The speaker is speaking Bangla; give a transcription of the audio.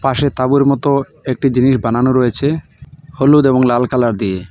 পাশে তাঁবুর মতো একটি জিনিস বানানো রয়েছে হলুদ এবং লাল কালার দিয়ে।